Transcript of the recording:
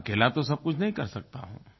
मैं अकेला तो सब कुछ नहीं कर सकता हूँ